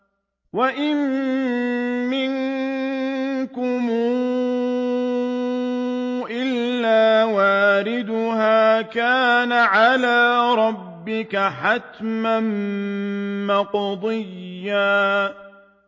وَإِن مِّنكُمْ إِلَّا وَارِدُهَا ۚ كَانَ عَلَىٰ رَبِّكَ حَتْمًا مَّقْضِيًّا